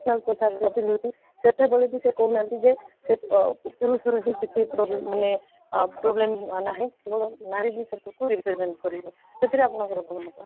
traditional ପୋଷାକ ପିନ୍ଧିକି ସେତେବେଳେ ବି କହୁ ନାହାନ୍ତି ଯେ ସେ ଆଃ ପୁରୁଷର ହିଁ ସେତିକି problem ମାନେ ଅଃ problem ନାହିଁ କେବଳ ନାରୀ ହିଁ ସେ ସବୁକୁ represent କରିବ ସେଥିରେ ଆପଣଙ୍କର କ'ଣ ମତ?